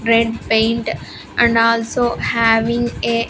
Red paint and also having a --